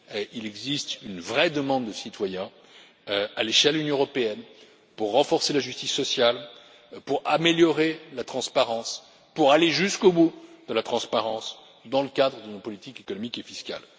Il existe une vraie demande des citoyens, à l'échelle de l'Union européenne, pour renforcer la justice sociale, pour améliorer la transparence et pour aller jusqu'au bout de la transparence dans le cadre d'une politique économique et fiscale.